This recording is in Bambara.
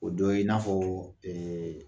O dɔ ye i n'afɔ